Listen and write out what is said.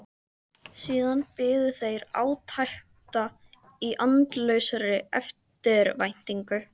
Síðan biðu þeir átekta í andlausri eftirvæntingu.